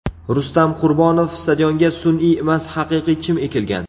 Rustam Qurbonov: Stadionga sun’iy emas, haqiqiy chim ekilgan.